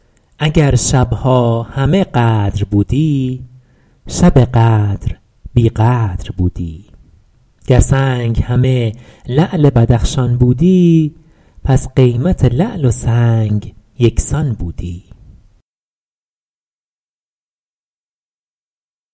اگر شبها همه قدر بودی شب قدر بی قدر بودی گر سنگ همه لعل بدخشان بودی پس قیمت لعل و سنگ یکسان بودی